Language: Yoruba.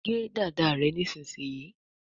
gé dada rẹ nísìsiyìí!